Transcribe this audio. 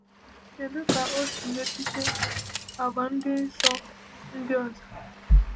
Kedu ka ọ si metụta àgwà ndị nsọ ndị ọzọ?